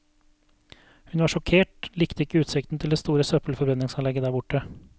Hun var sjokkert, likte ikke utsikten til det store søppelforbrenningsanlegget der borte.